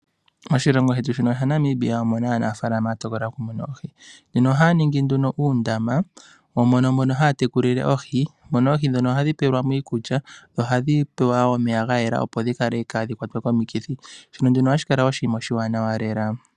Oshilongo shetu shino shaNamibia omu na aanafaalama ya tokola okumuna oohi, nena ohaya ningi nduno uundama mono haya tekulile oohi, mono oohi ndhono hadhi pelwa mo iikulya, nohadhi pelwa mo omeya ga yela, opo dhaa ha kwatwe komikithi, shono hashi kala oshiwanawa lela.